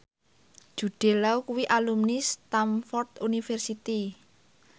Jude Law kuwi alumni Stamford University